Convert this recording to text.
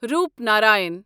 Roopnarayan